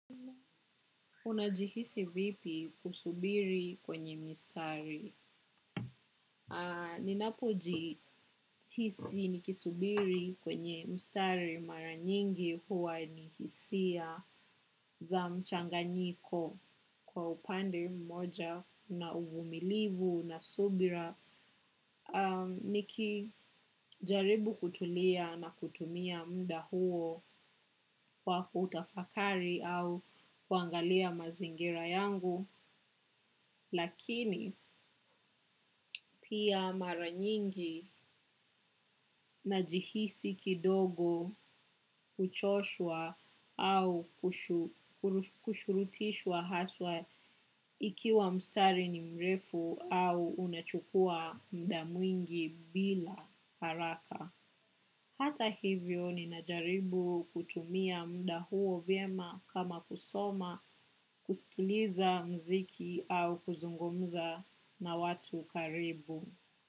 Unajihisi vipi kusubiri kwenye mstari? Ninapojihisi nikisubiri kwenye mstari mara nyingi huwa ni hisia za mchanganyiko kwa upande mmoja na uvumilivu na subira. Nikijaribu kutulia na kutumia muda huo kwa kutafakari au kuangalia mazingira yangu. Lakini pia mara nyingi najihisi kidogo kuchoshwa au kushurutishwa haswa ikiwa mstari ni mrefu au unachukua muda mwingi bila haraka. Hata hivyo ninajaribu kutumia muda huo vyema kama kusoma kusikiliza muziki au kuzungumza na watu karibu.